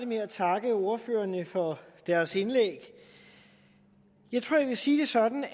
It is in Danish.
med at takke ordførerne for deres indlæg jeg tror jeg vil sige det sådan